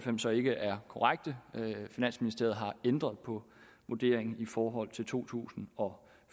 så ikke er korrekte finansministeriet har ændret på vurderingen i forhold til to tusind og